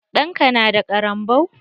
Ɗan ka na da ƙaranbau?